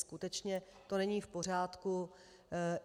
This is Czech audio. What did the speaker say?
Skutečně to není v pořádku.